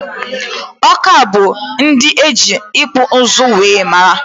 Awka bụ ndị eji ịkpụ ụzụ wee mara